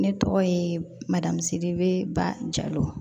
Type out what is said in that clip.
Ne tɔgɔ ye madamu sedu ba jalo